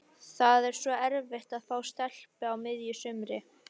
Það er svo erfitt að fá stelpu á miðju sumri.